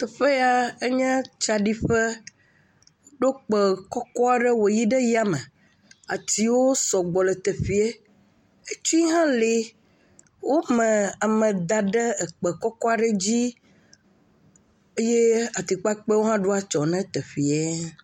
Teƒea ya enye tsaɖiƒe, woɖo kpe kɔkɔ aɖe wòyi ɖe ya me, ayiwo sɔgbɔ le teƒee, etsi hã le, wome ame da ɖe ekpe kɔkɔ aɖe dzi, eye atikpakpɛwo hã ɖo atsyɔ ne teƒee.